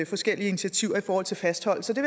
forskellige initiativer i forhold til fastholdelse det